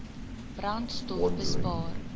brandstofbespaar